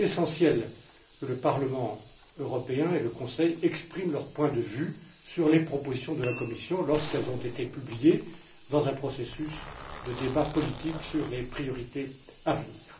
Il est essentiel que le Parlement européen et le Conseil expriment leur point de vue sur les propositions de la Commission lorsqu'elles ont été publiées, dans un processus de débat politique sur les priorités à venir.